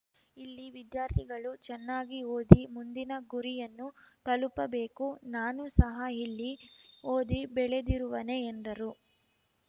ಇಲ್ಲಿ ವಿದ್ಯಾರ್ಥಿಗಳು ಚೆನ್ನಾಗಿ ಓದಿ ಮುಂದಿನ ಗುರಿಯನ್ನು ತಲುಪಬೇಕು ನಾನು ಸಹ ಇಲ್ಲಿ ಓದಿ ಬೆಳೆದಿರುವನೇ ಎಂದರು